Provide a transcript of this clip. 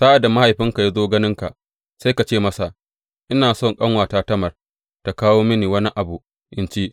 Sa’ad da mahaifinka ya zo ganinka, sai ka ce masa, Ina so ƙanuwata Tamar tă kawo mini wani abu in ci.